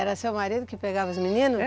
Era seu marido que pegava os meninos? Er